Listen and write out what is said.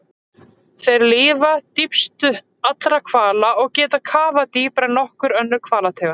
Þeir lifa dýpst allra hvala og geta kafað dýpra en nokkur önnur hvalategund.